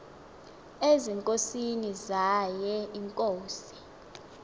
ezinkosini zaye iinkosi